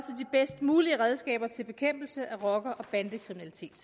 de bedst mulige redskaber til bekæmpelse af rocker og bandekriminalitet